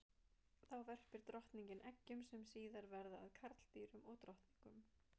Þá verpir drottningin eggjum sem síðar verða að karldýrum og drottningum.